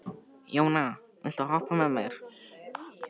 Jóna, viltu hoppa með mér?